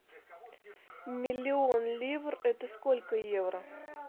миллион ливр это сколько евро